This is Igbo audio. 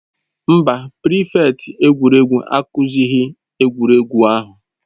Mba, prịfèkt egwuregwu akụzighị egwuregwu ahụ.